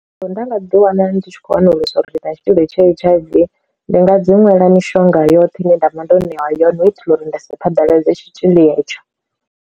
So nda nga ḓi wana ndi tshi khou wanulusa uri ndi na tshitzhili tsha H_I_V ndi nga dzi nwela mishonga yoṱhe ine nda vha ndo ṋewa yone u itela uri ndi si phaḓaladza tshitzhili hetsho.